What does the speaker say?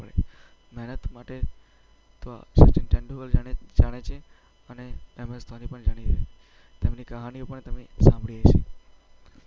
મહેનત માટે સચિન તેંડુલકર જાણીતા છે અને એમ. એસ. ધોની પણ જાણીતા છે. તેમની કહાનીઓ પણ તમે સાંભળી હશે.